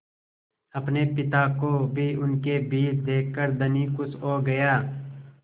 अपने पिता को भी इनके बीच देखकर धनी खुश हो गया